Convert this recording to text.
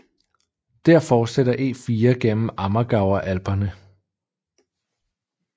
Der fortsætter E4 gennem Ammergauer Alperne